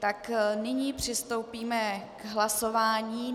Tak nyní přistoupíme k hlasování.